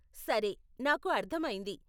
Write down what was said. సరే, నాకు అర్ధమైంది.